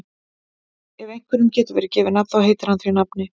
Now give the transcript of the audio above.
Ef einhverjum hefur verið gefið nafn þá heitir hann því nafni.